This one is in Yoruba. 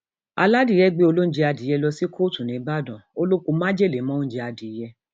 aládìẹ gbé olóúnjẹ adìẹ lọ sí kóòtù nìbàdàn ó lọ pọ májèlé mọ oúnjẹ adìẹ